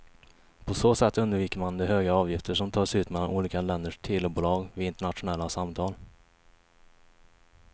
På så sätt undviker man de höga avgifter som tas ut mellan olika länders telebolag vid internationella samtal.